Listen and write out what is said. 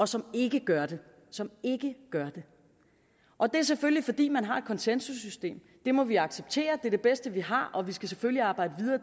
som ikke gør det som ikke gør det og det er selvfølgelig fordi man har et konsensussystem det må vi acceptere det er det bedste vi har og vi skal selvfølgelig arbejde videre